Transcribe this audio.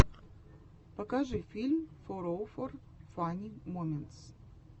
покажи фильм фороуфор фанни моментс